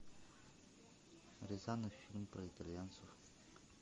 рязанов фильм про итальянцев